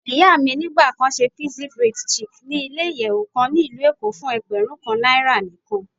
Iya mi nigba kan ṣe pixie braid chic ni ile-iyẹwu kan ni Ilu Eko fun ẹgbẹrun kan naira nikan.